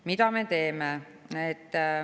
Mida me teeme?